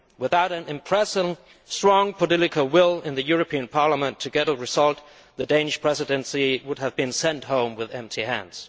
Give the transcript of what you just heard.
Without the impressive strong political will of the European Parliament to get a result, the Danish Presidency would have been sent home with empty hands.